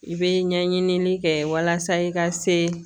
I bɛ ɲɛɲinili kɛ walasa i ka se